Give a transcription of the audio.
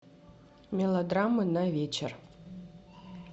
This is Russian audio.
мелодрамы на вечер